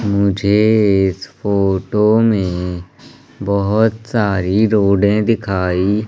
मुझे इस फोटो में बहोत सारी रोडे दिखाई--